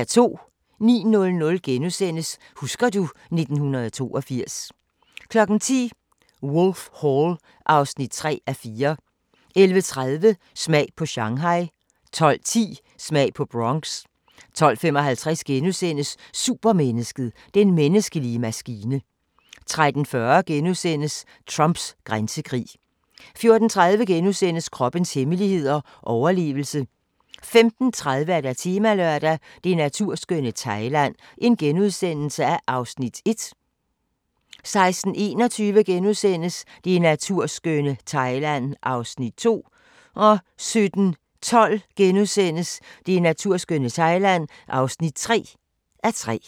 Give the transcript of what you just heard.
09:00: Husker du... 1982 * 10:00: Wolf Hall (3:4) 11:30: Smag på Shanghai 12:10: Smag på Bronx 12:55: Supermennesket: Den menneskelige maskine * 13:40: Trumps grænsekrig * 14:30: Kroppens hemmeligheder: Overlevelse * 15:30: Temalørdag: Det naturskønne Thailand (1:3)* 16:21: Det naturskønne Thailand (2:3)* 17:12: Det naturskønne Thailand (3:3)*